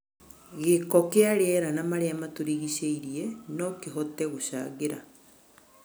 Gĩko kĩa rĩera na marĩa matũrigicĩirie no kũhote gũcangĩra